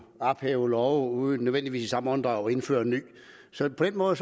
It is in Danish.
ophæve love uden nødvendigvis i samme åndedrag at indføre en ny så på den måde